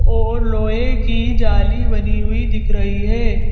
और लोहे की जाली बनी हुई दिख रही है।